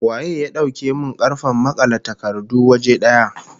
Waye ya dauke min karfen makale takardu waje daya?